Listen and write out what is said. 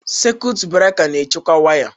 Sekụit breka na-ekewa waya.